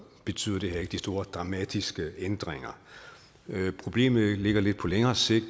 betyder det her ikke de store dramatiske ændringer problemet ligger lidt på længere sigt